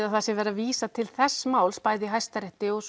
að sé verið að vísa til þessa máls í Hæstarétti og